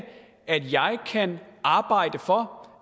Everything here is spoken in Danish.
at jeg kan arbejde for